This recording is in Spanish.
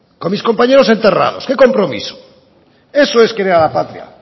con mis compañeros enterrados qué compromiso eso es querer a la patria